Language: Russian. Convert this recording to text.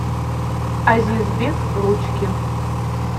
азизбек ручкин